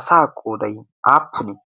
asa qoodai aappunie